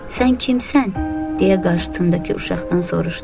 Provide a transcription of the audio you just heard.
Sən kimsən, deyə qarşısındakı uşaqdan soruşdu.